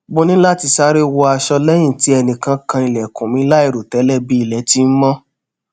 mo ni lati sare wọ aṣọ lẹyin ti ẹnikan kan ilẹkun mi lairotẹlẹ bi ilẹ ti n mó